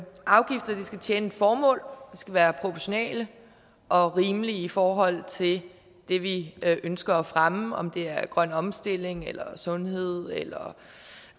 afgifter skal tjene et formål de skal være proportionale og rimelige i forhold til det det vi ønsker at fremme om det er grøn omstilling eller sundhed eller